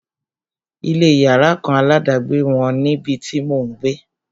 Ilé yàrá kan aládàgbé wọ́n níbi tí mò ń gbé.